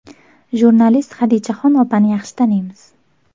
Jurnalist Xadichaxon opani yaxshi taniymiz.